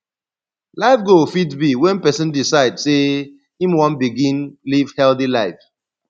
life goal fit be when person decide sey im wan begin live healthy life